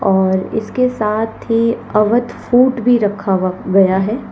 और इसके साथ ही अवध फूड भी रखा हुआ गया है।